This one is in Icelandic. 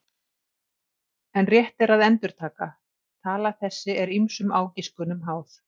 En rétt er að endurtaka: tala þessi er ýmsum ágiskunum háð.